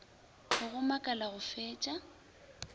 go go makala go fetša